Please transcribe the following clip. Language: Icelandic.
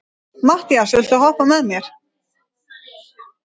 Mattías, viltu hoppa með mér?